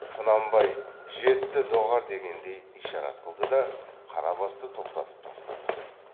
құнанбай жетті доғар дегендей ишарат қылды да қарабасты тоқтатып тастады